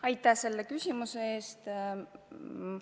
Aitäh selle küsimuse eest!